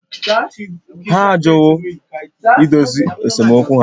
Ha ajụwo idozi esemokwu ha